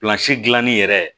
gilanni yɛrɛ